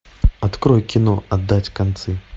открой кино отдать концы